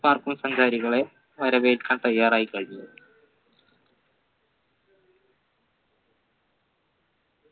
park ക്കും സഞ്ചാരികളെ വരവേൽക്കാൻ തയ്യാറായി കഴിഞ്ഞു